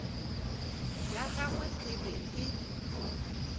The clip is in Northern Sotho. ya gagwe e be e